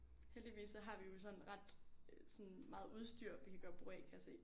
Heldigvis så har vi jo sådan ret sådan meget udstyr vi kan gøre brug af kan jeg se